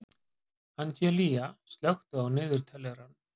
Angelía, slökktu á niðurteljaranum.